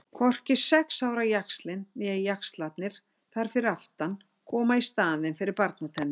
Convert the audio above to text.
Hvorki sex ára jaxlinn né jaxlarnir þar fyrir aftan koma í staðinn fyrir barnatennur.